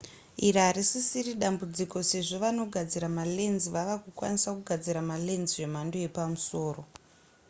iri harisisiri dambudziko sezvo vanogadzira malens vava kukwanisa kugadzira malens zvemhando yepamusoro